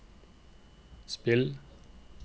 spill